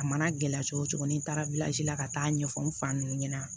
A mana gɛlɛya cogo cogo ni taara la ka taa ɲɛfɔ n fa nunnu ɲɛna